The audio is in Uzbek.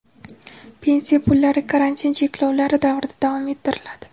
Pensiya pullari karantin cheklovlari davrida davom ettiriladi.